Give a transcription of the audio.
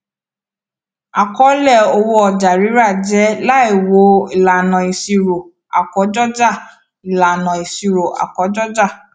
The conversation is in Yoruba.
àkọọlẹ owó ọjàrírà jẹ láìwo ìlànà ìṣirò àkójọọjà ìlànà ìṣirò àkójọọjà